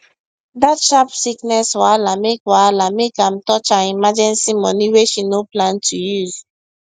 dat sharp sickness wahala make wahala make am touch her emergency money wey she no plan to use